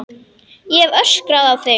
Ég hef öskrað á þig!